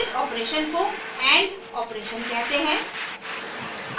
इस operation को and operation कहते हैं